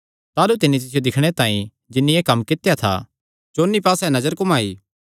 ताह़लू तिन्नी तिसियो दिक्खणे तांई जिन्नी एह़ कम्म कित्या था चौंन्नी पास्से नजर घुमाई